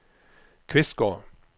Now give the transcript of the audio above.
Kvistgård